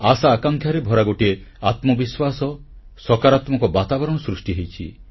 ଆଶାଆକାଂକ୍ଷାରେ ଭରା ଗୋଟିଏ ଆତ୍ମବିଶ୍ୱାସ ସକାରାତ୍ମକ ବାତାବରଣ ସୃଷ୍ଟି ହୋଇଛି